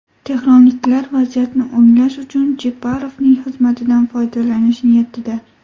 Tehronliklar vaziyatni o‘nglash uchun Jeparovning xizmatidan foydalanish niyatida.